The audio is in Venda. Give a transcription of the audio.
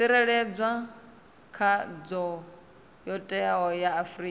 tsireledzwa kha ndayotewa ya afrika